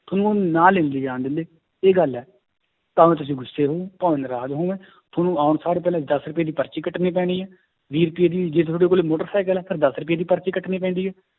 ਤੁਹਾਨੂੰ ਨਾਲ ਨੀ ਲਿਜਾਣ ਦਿੰਦੇ ਇਹ ਗੱਲ ਹੈ ਭਾਵੇਂ ਤੁਸੀਂ ਗੁੱਸੇ ਹੋਵੇ ਭਾਵੇਂ ਨਰਾਜ਼ ਹੋਵੋਂ, ਤੁਹਾਨੂੰ ਆਉਣ ਸਾਰ ਪਹਿਲਾਂ ਦਸ ਰੁਪਏ ਦੀ ਪਰਚੀ ਕੱਟਣੀ ਪੈਣੀ ਹੈ ਵੀਹ ਰੁਪਏ ਦੀ ਜੇ ਤੁਹਾਡੇ ਕੋਲ ਮੋਟਰ ਸਾਈਕਲ ਹੈ ਫਿਰ ਦਸ ਰੁਪਏ ਦੀ ਪਰਚੀ ਕੱਟਣੀ ਪੈਂਦੀ ਹੈ,